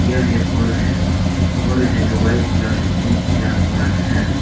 यह हॉल है हॉल है जो व्हाइट कलर से पेंट किया हुआ है।